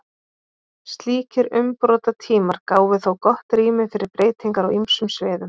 slíkir umbrotatímar gáfu þó gott rými fyrir breytingar á ýmsum sviðum